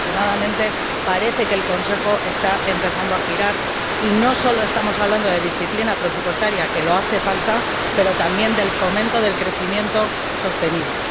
Afortunadamente, parece que el Consejo está empezando a girar y no solo estamos hablando de disciplina presupuestaria, que hace falta, sino también del fomento del crecimiento sostenible.